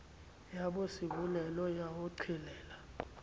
ya bosebolelo ya ho qhelela